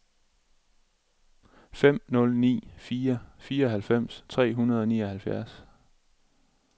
fem nul ni fire fireoghalvfems tre hundrede og nioghalvfjerds